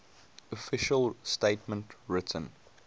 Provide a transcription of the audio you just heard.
official statement written